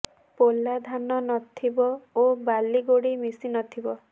ପୋଲା ଧାନ ନଥିବ ଓ ବାଲି ଗୋଡ଼ି ମିଶି ନଥିବ